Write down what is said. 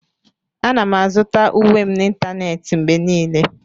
Ana m azụta uwe m n'ịntanetị mgbe niile.